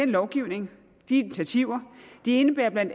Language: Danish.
lovgivning de initiativer indebærer bla